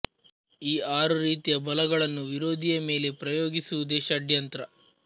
ಈ ಆರು ರೀತಿಯ ಬಲಗಳನ್ನು ವಿರೋಧಿಯ ಮೇಲೆ ಪ್ರಯೋಗಿಸುವುದೇ ಷಡ್ಯಂತ್ರ